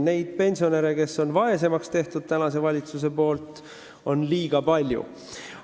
Neid pensionäre, kelle valitsus on nüüd vaesemaks teinud, on liiga palju.